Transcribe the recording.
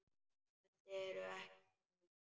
Þessi eru ekki lögleg.